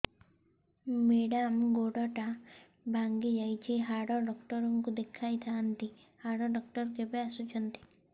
madam ଗୋଡ ଟା ଭାଙ୍ଗି ଯାଇଛି ହାଡ ଡକ୍ଟର ଙ୍କୁ ଦେଖାଇ ଥାଆନ୍ତି ହାଡ ଡକ୍ଟର କେବେ ଆସୁଛନ୍ତି